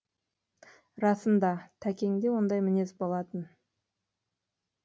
расында тәкеңде ондай мінез болатын